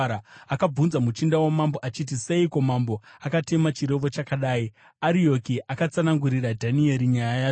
Akabvunza muchinda wamambo achiti, “Seiko mambo akatema chirevo chakadai?” Arioki akatsanangurira Dhanieri nyaya yacho.